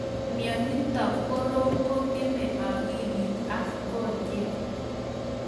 mionitok korom kong�emei akilit ak konyek